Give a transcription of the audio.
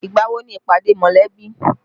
Ìgbà wo ni ìpàdé mọ̀lẹ́bí?